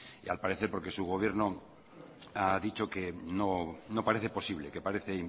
y al parecer porque su gobierno ha dicho que no parece posible que parece